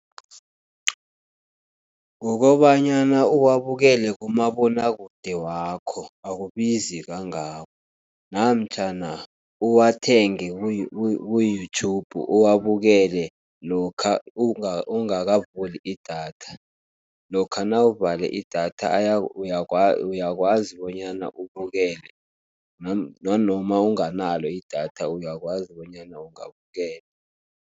Kukobanyana uwabukele kumabonwakude wakho, akubizi kangako, namtjhana uwathenge ku-YouTube uwabukele lokha ungakavuli idatha. Lokha nawuvale idatha uyakwazi bonyana ubukele, nanoma unganalo idatha uyakwazi bonyana ungabukela.